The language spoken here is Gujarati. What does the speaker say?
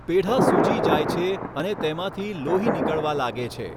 પેઢા સૂજી જાય છે અને તેમાંથી લોહી નીકળવા લાગે છે.